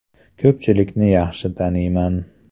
Ko‘pchilikni yaxshi taniyman.